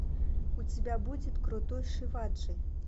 у тебя будет крутой шиваджи